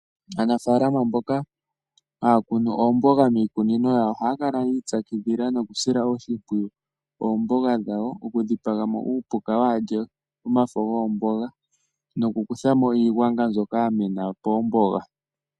Aanafaalama mboka haya kunu oomboga miikunino yawo, ohaya kala yiipyakidhila nokusila oshimpwiyu oomboga dhawo, oku dhipamo uupuka waalye omafo goomboga nokukuthamo iigwanga mbyoka yamena poomboga.